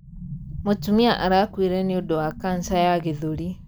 Mũtumia arakuire nĩũndũ wa kanca ya gĩthũri.